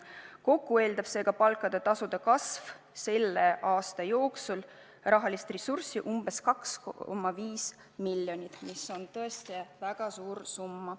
Kokku eeldab seega palkade ja tasude kasv selle aasta jooksul raharessurssi umbes 2,5 miljonit, mis on tõesti väga suur summa.